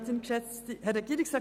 Weshalb 5 Prozent?